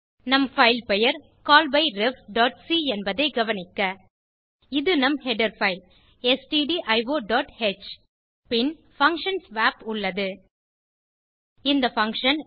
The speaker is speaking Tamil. நம் பைல் பெயர் callbyrefசி என்பதை கவனிக்க இது நம் ஹெடர் பைல் stdioஹ் பின் பங்ஷன் ஸ்வாப் உள்ளது இந்த பங்ஷன்